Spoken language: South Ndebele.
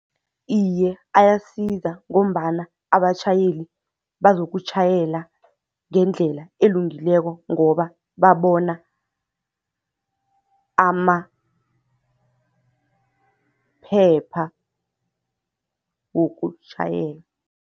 Iye, ayasiza ngombana abatjhayeli bazokutjhayela ngendlela elungileko ngoba babona amaphepha wokutjhayela.